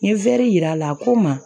N ye yir'a la a ko n ma